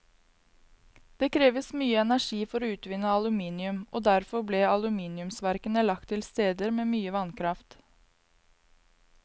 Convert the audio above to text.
Det kreves mye energi for å utvinne aluminium, og derfor ble aluminiumsverkene lagt til steder med mye vannkraft.